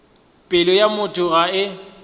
pelo ya motho ga e